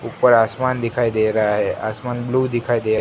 ऊपर आसमान दिखाई दे रहा है आसमान ब्लू दिखाई दे।